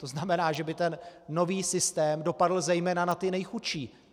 To znamená, že by ten nový systém dopadl zejména na ty nejchudší.